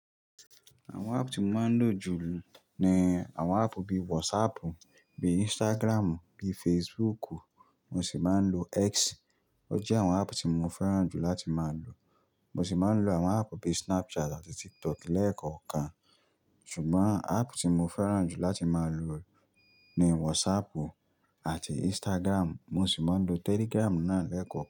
Àwọn app tí mo máa ń lò jùlọ ni àwọn app bíi WhatsApp, bíi Instagram, bíi Facebook, mo sì máa ń lo X. Ó jẹ́ àwọn app tí mo fẹ́ràn jù láti máa lò. Mo sì máa ń lo àwọn app bíi Snapchat àti TikTok lẹ́ẹ̀kọ̀ọ̀kan. Ṣùgbọ́n app tí mo fẹ́ràn jù láti máa lò ni WhatsApp àti Instagram, mo sì máa ń lo Telegram náà lẹ́ẹ̀kọ̀ọ́